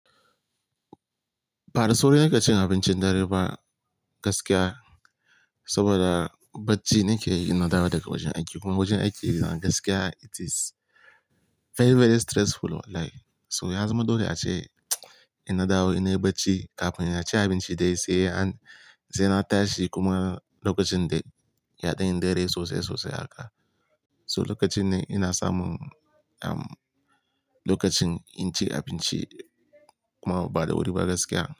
Ba da sauri nake cin abincin dare ba gaskiya, saboda bacci nake ina dawo daga wajen aiki. Kuma wajen aiki na gaskiya it is very, very stressful wallahi. So ya zama dole ace ina dawo ina yi bacci kafin ina ci abinci dai sai an-- sai na tashi kuma lokacin dai yaɗan yi dare sosai, sosai haka. So lokacin ne ina samu, um, lokacin in ci abinci kuma ba da wuri ba gaskiya.